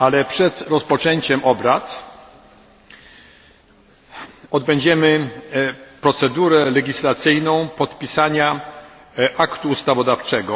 Przed rozpoczęciem obrad odbędziemy procedurę legislacyjną podpisania aktu ustawodawczego.